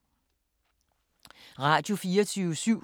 Radio24syv